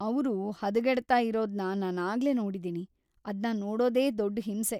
ಅವ್ರು ಹದಗೆಡ್ತಾ ಇರೋದ್ನ ನಾನಾಗ್ಲೇ ನೋಡಿದಿನಿ, ಅದ್ನ ನೋಡೋದೇ ದೊಡ್ಡ್‌ ಹಿಂಸೆ..